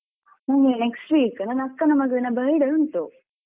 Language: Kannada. ನಮ್ಗೆ next week ನನ್ನ ಅಕ್ಕನ ಮಗನ birthday ಉಂಟು.